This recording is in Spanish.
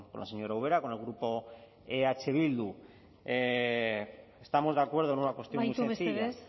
la señora ubera con el grupo eh bildu estamos de acuerdo en una cuestión muy sencilla amaitu mesedez